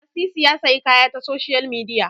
Lasisi ya sayi kaya ta soshiyal midiya